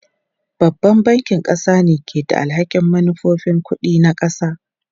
Babban bankin ƙasa ne ke da alhakin manufofin kuɗi na ƙasa.